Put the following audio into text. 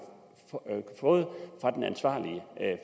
fået fra den ansvarlige